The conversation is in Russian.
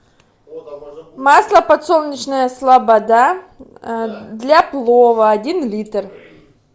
масло подсолнечное слобода для плова один литр